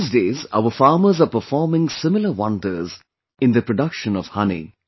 These days our farmers are performing similar wonders in the production of honey